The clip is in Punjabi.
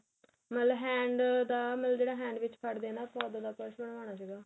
ਮਤਲਬ hand ਦਾ ਮਤਲਬ ਜਿਹੜਾ hand ਵਿੱਚ ਫੜਦੇ ਆ ਨਾ ਆਪਾਂ ਉੱਦਾ ਦਾ purse ਬਣਵਾਣਾ ਸੀਗਾ